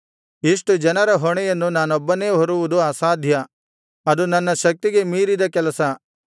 ಇಷ್ಟು ಜನರ ಹೊಣೆಯನ್ನು ನಾನೊಬ್ಬನೇ ಹೊರುವುದು ಅಸಾಧ್ಯ ಅದು ನನ್ನ ಶಕ್ತಿಗೆ ಮೀರಿದ ಕೆಲಸ